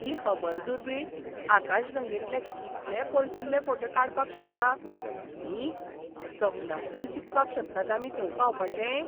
ही Hubble दुर्बीण आकाशगंगेतले कितले पयसुल्ले फोटे काडपाक शकता, न्ही. सपनांत तरी चिंतपाक शकतात आमी थंय पावपाचें!